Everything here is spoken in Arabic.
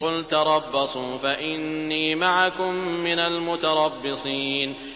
قُلْ تَرَبَّصُوا فَإِنِّي مَعَكُم مِّنَ الْمُتَرَبِّصِينَ